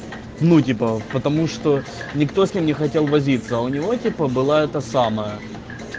ну типа потому что никто с ним не хотел возиться а у него типа была эта самая